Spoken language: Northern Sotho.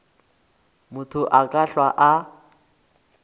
motho a ka hlwa a